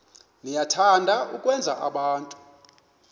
niyathanda ukwenza abantu